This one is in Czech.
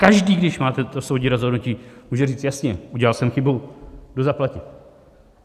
Každý, když má toto soudní rozhodnutí, může říct jasně: Udělal jsem chybu, jdu zaplatit.